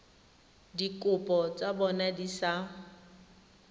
dikopo tsa bona di sa